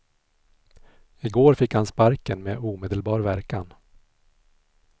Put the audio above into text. I går fick han sparken med omedelbar verkan.